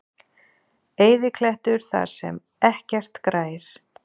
Eyðiklettur þar sem ekkert grær.